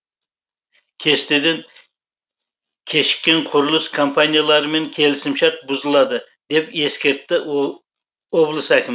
кестеден кешіккен құрылыс компанияларымен келісімшарт бұзылады деп ескертті облыс әкімі